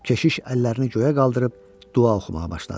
Keşiş əllərini göyə qaldırıb dua oxumağa başladı.